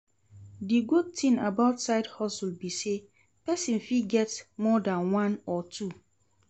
Di good thing about side hustle be say persin fit get more than one or two